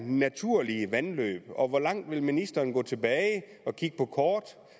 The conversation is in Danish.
naturlige vandløb og hvor langt vil ministeren gå tilbage og kigge på kort